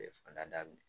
daminɛ